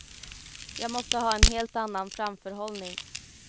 Jag måste ha en helt annan framförhållning.